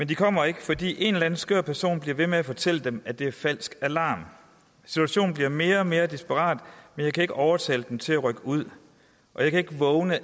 de kommer ikke fordi en eller anden skør person bliver ved med at fortælle dem at det er en falsk alarm situationen bliver mere og mere desperat men jeg kan ikke overtale dem til at rykke ud og jeg kan ikke vågne